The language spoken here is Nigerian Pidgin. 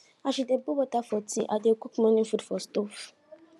as she dey boil water for tea i dey cook morning food for stove